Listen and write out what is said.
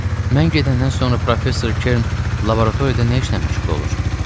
Mən gedəndən sonra professor Ker'n laboratoriyada nə işlə məşğul olur?